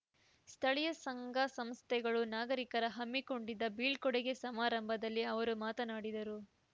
ಸ್ಥಳೀಯ ಸಂಘ ಸಂಸ್ಥೆಗಳು ನಾಗರಿಕರ ಹಮ್ಮಿಕೊಂಡಿದ್ದ ಬೀಳ್ಕೋಡುಗೆ ಸಮಾರಂಭದಲ್ಲಿ ಅವರು ಮಾತನಾಡಿದರು